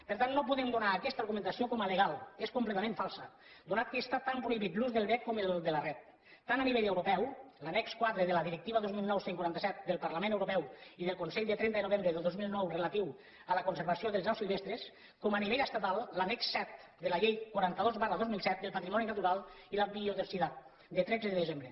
per tant no podem donar aquesta argumentació com a legal és completament falsa atès que està tan prohibit l’ús del vesc com el de la ret tant a nivell europeu l’annex quatre de la directiva dos mil nou cent i quaranta set del parlament europeu i del consell de trenta de novembre de dos mil nou relatiu a la conservació de les aus silvestres com a nivell estatal l’annex set de la llei quaranta dos dos mil set del patrimoni natural i la biodiversitat de tretze de desembre